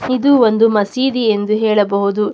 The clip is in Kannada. ಇದು ಒಂದು ಮಸೀದಿ ಎಂದು ಹೇಳಬಹುದು.